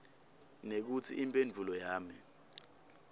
nekutsi imphendvulo yami